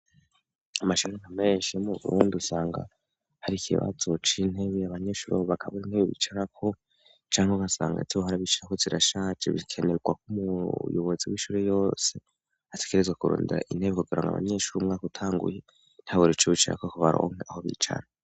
amashure nka menshi mu burundi usanga hari ikibazo c'intebe abanyeshuri aho bakabura intebe bicaraho canke ugasanga izobahorra bicarako zirashaze bikenerwa ko umuyobozi w'ishure yose atekerezwa kurunda intebe kugirango abanyeshuri umwaka utanguye ntababure ico bicarako baronke aho bicara